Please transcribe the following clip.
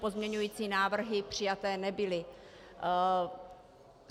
Pozměňovací návrhy přijaty nebyly.